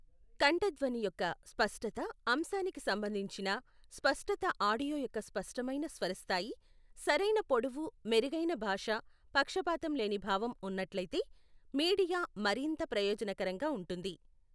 కంఠధ్వని యొక్క స్పష్టత అంశానికి సంబంధించిన, స్పష్టత ఆడియో యొక్క స్పష్టమైన స్వరస్థాయి సరైన పొడవు మెరుగైన భాష పక్షపాతం లేని భావం ఉన్నట్లయితే మీడియా మరింత ప్రయోజనకరంగా ఉంటుంది.